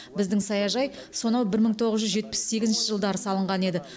біздің саяжай сонау бір мың тоғыз жүз жетпіс сегізінші жылдары салынған еді